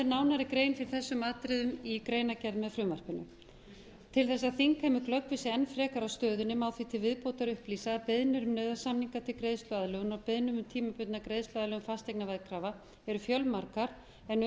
nánari grein fyrir þessum atriðum í greinargerð með frumvarpinu til þess að þingheimur glöggvi sig enn frekar á stöðunni má því til viðbótar upplýsa að beiðnir um nauðasamninga til greiðsluaðlögunar og beiðnir um tímabundna greiðsluaðlögun fasteignaveðkrafna eru fjölmargar en um er að ræða